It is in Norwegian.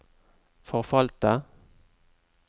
forfalte